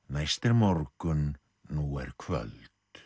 næst er morgun nú er kvöld